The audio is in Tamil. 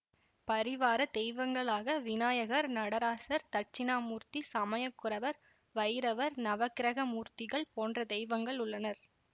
பரிவார தெய்வங்களாக விநாயகர் நடராசர் தட்சிணாமூர்த்தி சமயகுரவர் வைரவர் நவக்கிரகமூர்த்திகள் போன்ற தெய்வங்கள் உள்ளனர்